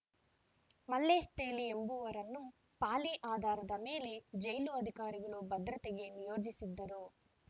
ಮಲ್ಲೇಶ್‌ ತೇಲಿ ಎಂಬುವರನ್ನು ಪಾಳಿ ಆಧಾರದ ಮೇಲೆ ಜೈಲು ಅಧಿಕಾರಿಗಳು ಭದ್ರತೆಗೆ ನಿಯೋಜಿಸಿದ್ದರು